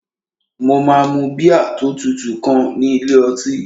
Mo máa mu bíà tó tutù kan ní ilé ọtí